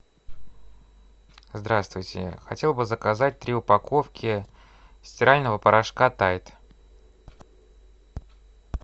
здравствуйте хотел бы заказать три упаковки стирального порошка тайд